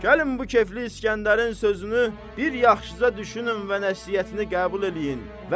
Gəlin bu kefli İsgəndərin sözünü bir yaxşıca düşünün və nəsihətini qəbul eləyin.